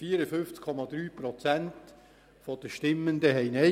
54,3 Prozent der Stimmenden sagten Nein;